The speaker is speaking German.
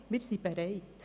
Wir sind bereit.